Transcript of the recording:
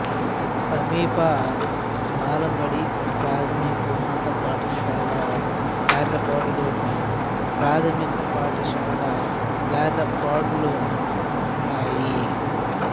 సమీప బాలబడి ప్రాథమికోన్నత పాఠశాల గార్లపాడులోను మాధ్యమిక పాఠశాల గార్లపాడ్లోనూ ఉన్నాయి